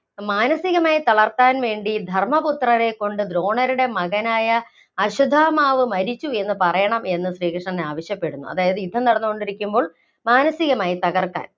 മാനസികമായി തളര്‍ത്താന്‍ വേണ്ടി ധര്‍മ്മപുത്രരെകൊണ്ട് ദ്രോണരുടെ മകനായ അശ്വത്ഥാമാവ് മരിച്ചു എന്ന് പറയണം എന്ന് ശ്രീകൃഷ്ണൻ ആവശ്യപ്പെട്ടു. അതായത് യുദ്ധം നടന്നുകൊണ്ടിരിക്കുമ്പോള്‍ മാനസികമായി തകര്‍ക്കാന്‍